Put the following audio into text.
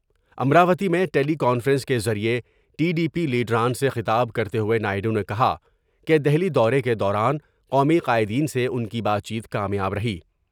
امراوتی میں teleconference کے ذریعے ٹی ڈی پی لیڈران سے خطاب کرتے ہوۓ نائیڈو نے کہا کہ دہلی دورے کے دوران قومی قائدین سے ان کی بات چیت کامیاب رہی ۔